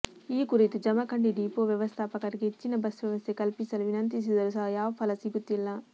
ಈ ಕುರಿತು ಜಮಖಂಡಿ ಡೀಪೋ ವ್ಯವಸ್ಥಾಪಕರಿಗೆ ಹೆಚ್ಚಿನ ಬಸ್ ವ್ಯವಸ್ಥೆ ಕಲ್ಪಿಸಲು ವಿನಂತಿಸಿದರು ಸಹ ಯಾವ ಫಲಸಿಗುತ್ತಿಲ್ಲ